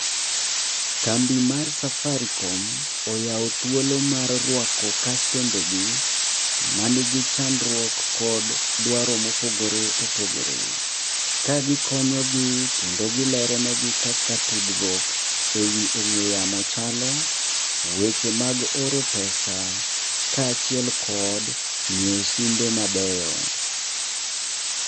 Kambi mar Safaricom oyawo thuolo mar ruako kastembegi man gi chandruok kod dwaro mopogore opogore. Ka gikonyogi kendo gilero negi kaka tudruok ewi ong'we yamo chalo, weche mag oro pesa kaachiel kod ng'iewo simbe mabeyo.